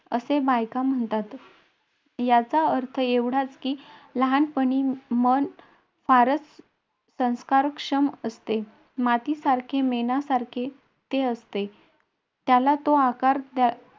असे बायका म्हणतात. याचा अर्थ एवढाच, की लहानपणी मन फारच संस्कारक्षम असते. मातीसारखे, मेणासारखे ते असते. द्यावा तो आकार त्याला मिळे